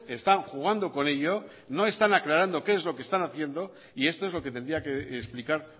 están jugando con ello no están aclarando qué es lo que están haciendo y esto es lo que tendría que explicar